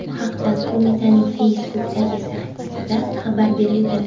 Bu haqda qo‘mitaning Facebook’dagi sahifasida xabar berilgan .